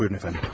Buyurun əfəndim.